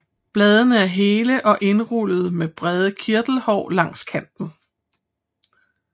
Bladene er hele og indrullede med brede kirtelhår langs kanten